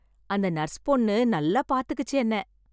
அந்த நர்ஸ் பொண்ணு நல்லா பாத்துக்குச்சு என்ன.